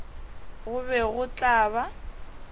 go be go tla ba